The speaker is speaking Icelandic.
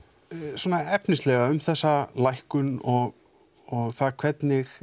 svona efnislega um þessa lækkun og hvernig